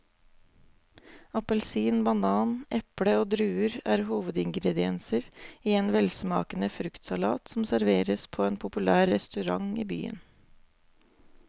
Appelsin, banan, eple og druer er hovedingredienser i en velsmakende fruktsalat som serveres på en populær restaurant i byen.